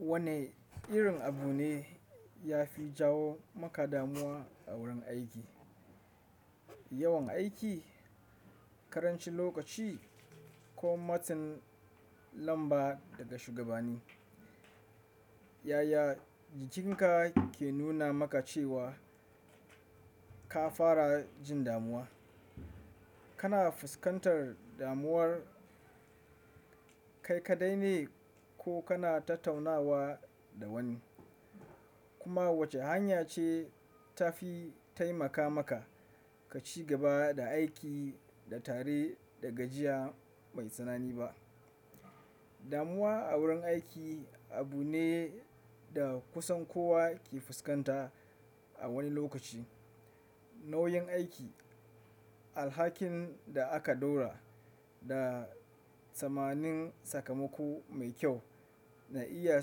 Wane irin abu ne ya fi jawo maka damuwa a wurin aiki? Yawan aiki, ƙarancin lokaci ko matsin lamba daga shugabanni? Yaya jikinka ke nuna maka cewa ka fara jin damuwa? Kana fuskantar damuwar kai kaɗai ne ko kana tattaunawa da wani? Kuma wace hanya ce ta fi taimaka maka ka ci gaba da aiki da tare da gajiya mai tsanani ba? Damuwa a wurin aiki abu ne da kusan kowa ke fuskanta a wani lokaci. Nauyin aiki, alhakin da aka ɗora, da tsammanin sakamako mai kyau na iya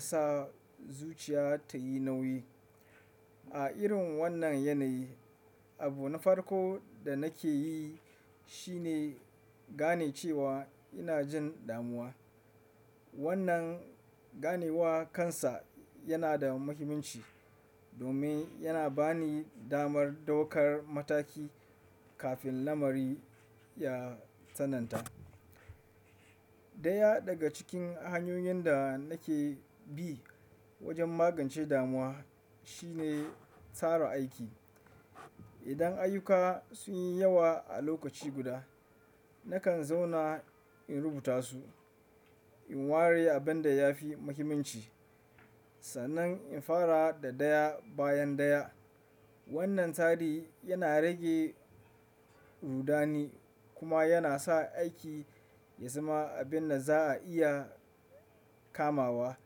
sa zuciya ta yi nauyi. A irin wannan yanayi, abu na farko da nake yi shine gane cewa ina jin damuwa. Wannan ganewa kansa yana da muhimmanci domin yana ba ni damar ɗaukar mataki kafin lamari ya tsananta. Daya daga cikin hanyoyin da nake bi wajen magance damuwa shine tsara aiki. Idan ayyuka sun yi yawa a lokaci guda, nakan zauna in rubuta su, in ware abin da ya fi muhimmanci, sannan in fara da daya bayan daya. Wannan tsari yana rage rudani kuma yana sa aiki ya zama abin da za'a iya kamawa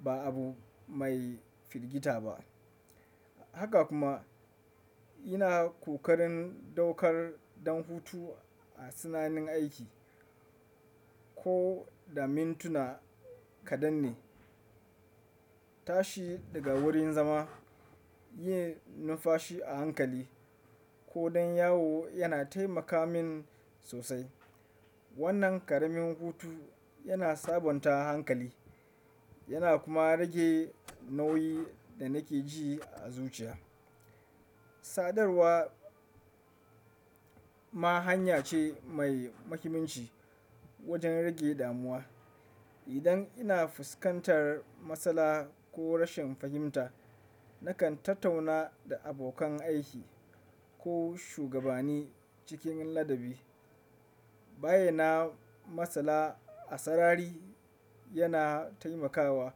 ba abu mai filgita ba. Haka kuma, ina ƙoƙarin ɗaukar ɗan hutu a tsananin aiki. Ko da mintuna kaɗan ne, tashi daga wurin zama, yin numfashi a hankali, ko dan yawo yana taimaka min sosai. Wannan ƙaramin hutu yana sabonta hankali yana kuma rage nauyin da nake ji a zuciya. Sadarwa ma hanya ce mai muhimmanci wajen rage damuwa. Idan ina fuskantar matsala ko rashin fahimta, nakan tattauna da abokan aiki ko shugabani cikin ladabi. Bayyana matsala a sarari yana taimakawa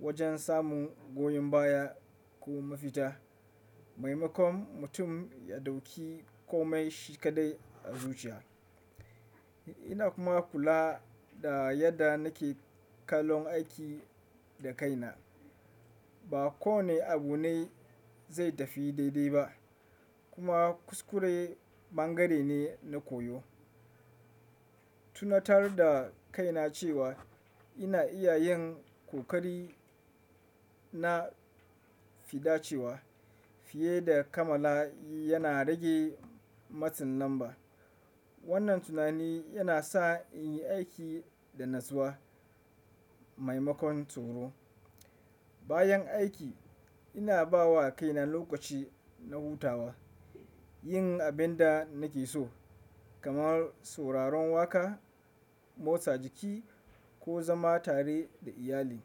wajen samun goyon baya ko mafita, maimakon mutum ya ɗauki kome shi kaɗai a zuciya. Ina kuma kula da yadda nake kalon aiki da kaina. Ba kowani abu ne zai tafi daidai ba, kuma kuskure bangare ne na koyo. Tuna tar da kaina cewa ina iya yin ƙoƙari na fidacewa fiye da kammala yana rage matsin lamba. Wannan tunani yana sa in yi aiki da natsuwa, maimakon tsoro. Bayan aiki, ina ba wa kaina lokaci na hutawa, yin abin da nake so kamar suraron waƙa, motsa jiki ko zama tare da iyali.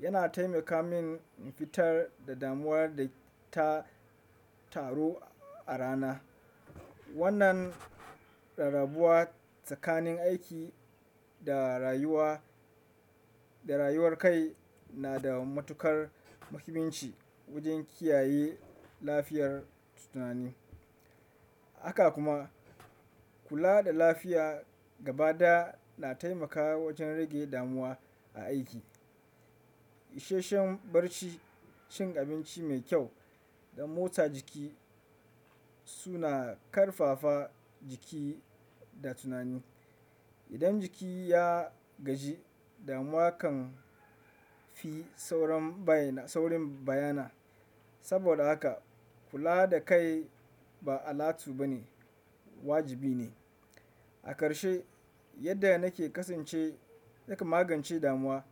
Yana taimaka min in fitar da damuwar da ta taru a rana. Wannan rarrabuwa tsakanin aiki da rayuwar kai na da matuƙar muhimmanci wajen kiyaye lafiyar tunani. Haka kuma, kula da lafiya gabaɗaya na taimakawa wajen rage damuwa a aiki. Isheshen barci, cin abinci mai kyau, da motsa jiki suna ƙarfafa jiki da tunani. Idan jiki ya gaji, damuwa kan fi saurin bayyana. Saboda haka kula da kai ba alatu ba ne, wajibi ne. A ƙarshe, yadda nake kasance yake magance damuwa.